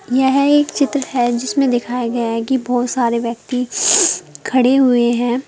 यह एक चित्र है जिसमें दिखाया गया है कि बहुत सारे व्यक्ति खड़े हुए हैं।